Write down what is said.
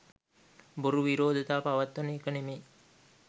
බොරු විරෝධතා පවත්වන එක නෙමෙයි.